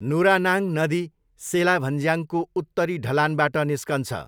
नुरानाङ नदी सेला भन्ज्याङको उत्तरी ढलानबाट निस्कन्छ।